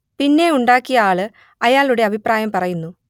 പിന്നെ ഉണ്ടാക്കിയ ആള് അയാളുടെ അഭിപ്രായം പറയുന്നു